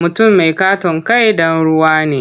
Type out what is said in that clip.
Mutum mai ƙaton kai ɗan ruwa ne.